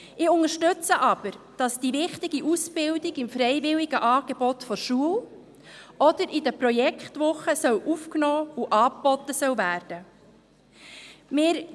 Ich unterstütze aber, dass die wichtige Ausbildung im freiwilligen Angebot der Schule oder in den Projektwochen aufgenommen und angeboten werden soll.